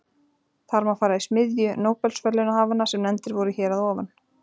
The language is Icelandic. Þar má fara í smiðju nóbelsverðlaunahafanna sem nefndir voru hér að ofan.